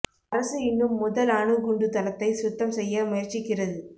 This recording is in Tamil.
அரசு இன்னும் முதல் அணு குண்டு தளத்தை சுத்தம் செய்ய முயற்சிக்கிறது